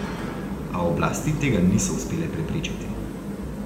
A oblasti tega niso uspele preprečiti.